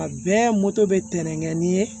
A bɛɛ bɛ tɛnɛn ni